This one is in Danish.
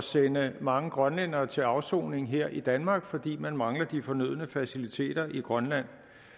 sende mange grønlændere til afsoning her i danmark fordi man mangler de fornødne faciliteter i grønland